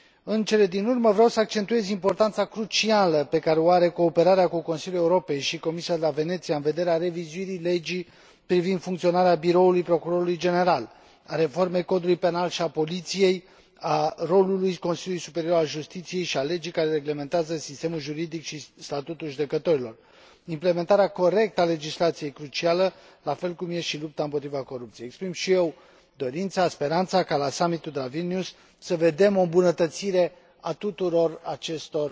În cele din urmă, vreau să accentuez importanța crucială pe care o au cooperarea cu Consiliul Europei și Comisia de la Veneția în vederea revizuirii Legii privind funcționarea Biroului Procurorului General, a reformei Codului penal și a Poliției, a rolului Consiliului Superior al Justiției și a legii care reglementează sistemul juridic și statutul judecătorilor, implementarea corectă a legislației cruciale, la fel ca și lupta împotriva corupției. Îmi exprim și eu dorința, speranța, ca, la summit ul de la Vilnius, să vedem o îmbunătățire a tuturor acestor